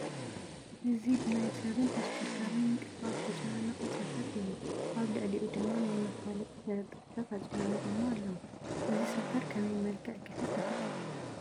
እዚ ብናይ ሰብን ተሽከርካርን ምንቅስቓስ ዝተጨናነቐ ሰፈር አዩ፡፡ ኣብ ልዕሊኡ ድማ ናይ መፋለጢ ተለጣፊታት ኣጨናኒቐሞ ኣለዉ፡፡ እዚ ሰፈር ከመይ መልክዕ ክሕዝ ይኽእል?